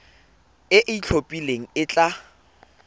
e e itlhophileng e tla